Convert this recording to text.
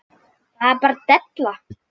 Þetta er bara della.